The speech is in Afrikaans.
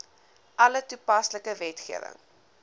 alle toepaslike wetgewing